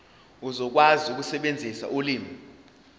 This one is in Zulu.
uzokwazi ukusebenzisa ulimi